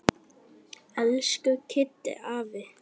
Elsku Kiddi afi.